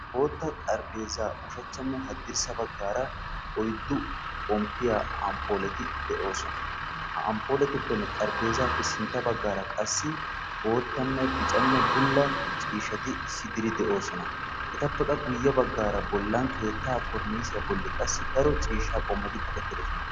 Bootta xarphpheezzaa ushshachchanne hadirssa baggaara oyddu xomppiyaa ampuuleti de'oosona. ha amppuletuppenne xaraphphezzappe sintta baggaara qassi boottanne biccanne bulla ciishshati issi diri de'oosona. etappe bolla baggaara keettaa korinisiyaa bollikka daro ciishshaa qommoti kaqettidosona.